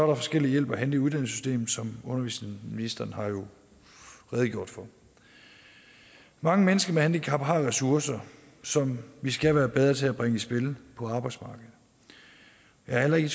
der forskellig hjælp at hente i uddannelsessystemet som undervisningsministeren har redegjort for mange mennesker med handicap har jo ressourcer som vi skal være bedre til at bringe i spil på arbejdsmarkedet jeg er heller ikke